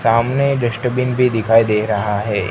सामने डिस्टबिन भी दिखाई दे रहा है।